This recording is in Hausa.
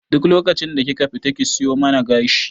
Duk lokacin da kika fita ki siyo man gashi